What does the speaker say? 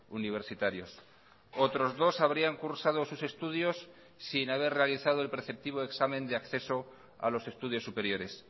universitarios otros dos habrían cursado sus estudios sin haber realizado el preceptivo examen de acceso a los estudios superiores